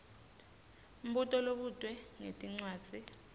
mbuto lobutwe ngetincwadzi